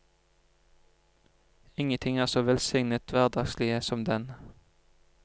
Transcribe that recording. Ingenting er så velsignet hverdagslig som den.